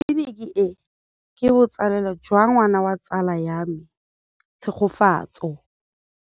Tleliniki e, ke botsalêlô jwa ngwana wa tsala ya me Tshegofatso.